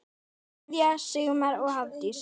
Kveðja, Sigmar og Hafdís.